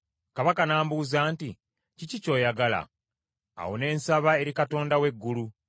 Kabaka n’ambuuza nti, “Kiki ky’oyagala?” Awo ne nsaba eri Katonda w’eggulu,